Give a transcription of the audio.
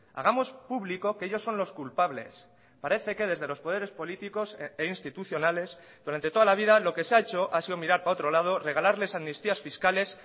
hagamos público que ellos son los culpables parece que desde los poderes políticos e institucionales durante toda la vida lo que se ha hecho ha sido mirar para otro lado regalarles amnistías fiscales